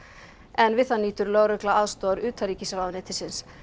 en við það nýtur lögregla aðstoðar utanríkisráðuneytisins